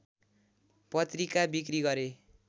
पत्रिका बिक्री गरे